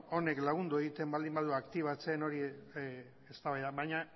beno honek lagundu egiten baldin badu aktibatzen eztabaida